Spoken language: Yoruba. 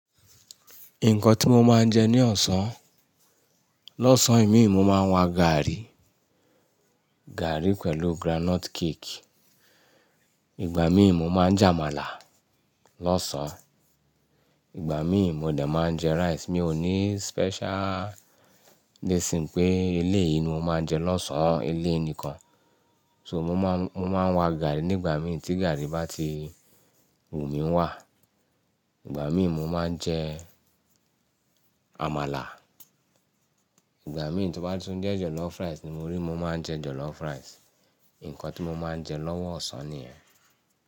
Nǹkan tí mo máa ń jẹ ní ọ̀sán, lọ́sàn imi mo máa ń wa gàárì, gàárì pẹ̀lú groundnut cake. Ìgbà míì mo máa ń jẹ àmàlà lọ́sàn. Ìgbà míì mo dẹ̀ máa ń jẹ rice. Mi ò ní special reason pé eléyìí ni mo máa ń jẹ lọ́sàn eléyìí nìkan. So mo máa ń, mo máa ń wa gàárì nígbà míì tí gàárì bá ti wù mí wà. Nígbà mí mo máa n je amala, nígbà mi tó bá tún je jollof rice ni mọ ri mo máa n je jollof rice. Nǹkan tí mo máa ń jẹ lọ́wọ́ ọ̀sán nìyẹn.